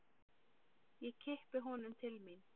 Ég kippi honum til mín.